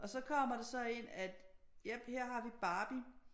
Og så kommer det så ind at jep her har vi Barbie